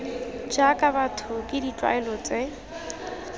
jaaka batho ke ditlwaelo tse